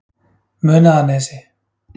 Munaðarnesi